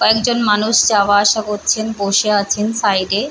কয়েকজন মানুষ যওয়া আসা করছেন বসে আছেন সাইড এ।